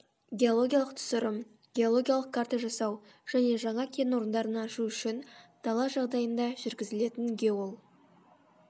геологиялық түсірім геологиялық карта жасау және жаңа кен орындарын ашу үшін дала жағдайында жүргізілетін геол